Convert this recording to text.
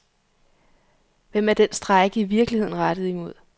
Hvem er den strejke i virkeligheden rettet imod?